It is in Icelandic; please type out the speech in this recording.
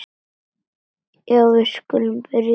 Já, við skulum byrja hér.